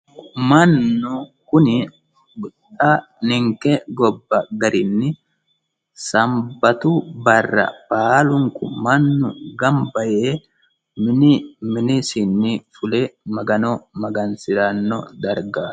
Mannu kuni xa ninike gobba garinni sanibbatu barra mannu baalunikku ganibba yee mini minisinni fule magano maganisoranno darigaati